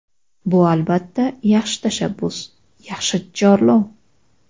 Bu, albatta, yaxshi tashabbus, yaxshi chorlov.